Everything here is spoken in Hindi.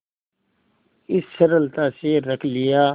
इस सरलता से रख लिया